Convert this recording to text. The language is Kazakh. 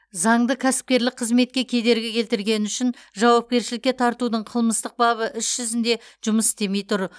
заңды кәсіпкерлік қызметке кедергі келтіргені үшін жауапкершілікке тартудың қылмыстық бабы іс жүзінде жұмыс істемей тұр